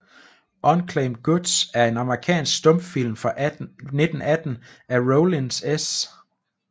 Unclaimed Goods er en amerikansk stumfilm fra 1918 af Rollin S